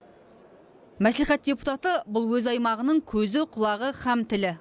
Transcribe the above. мәслихат депутаты бұл өз аймағының көзі құлағы һәм тілі